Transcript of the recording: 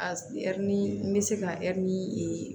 A ɛri ni bɛ se ka ɛri